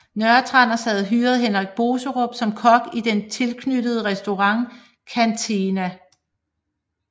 Nørretranders havde hyret Henrik Boserup som kok i den tilknyttede restaurant Canteena